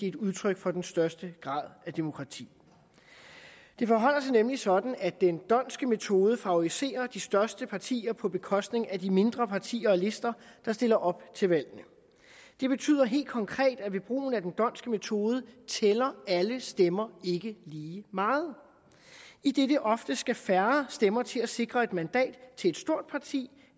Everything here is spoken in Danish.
et udtryk for den største grad af demokrati det forholder sig nemlig sådan at den dhondtske metode favoriserer de største partier på bekostning af de mindre partier og lister der stiller op til valgene det betyder helt konkret at ved brugen af den dhondtske metode tæller alle stemmer ikke lige meget idet der ofte skal færre stemmer til at sikre et mandat til et stort parti